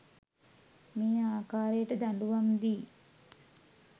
මේ ආකාරයට දඬුවම් දී